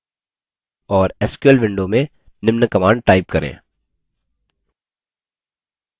और sql window में निम्न command type करें